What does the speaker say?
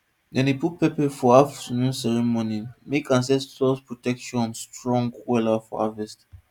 dem dey put pepper for afternoon ceremony make ancestors protection strong wella for harvet